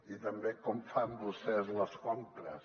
i també com fan vostès les compres